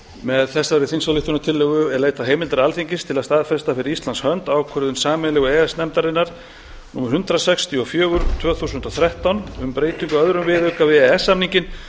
með þessari þingsályktunartillögu er leitað heimildar alþingis til að staðfesta fyrir íslands hins ákvörðun sameiginlegu e e s nefndarinnar númer hundrað sextíu og fjögur tvö þúsund og þrettán um breytingu á öðrum viðauka við e e s samninginn